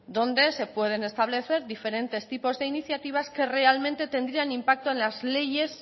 donde se pueden establecer diferentes tipos de iniciativas que realmente tendrían impacto en las leyes